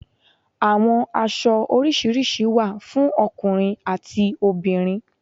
Àwọn aṣọ orisirisi wa fún ọkùnrin ati obìnrin